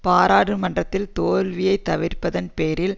பாராளுமன்றத்தில் தோல்வியை தவிர்ப்பதன் பேரில்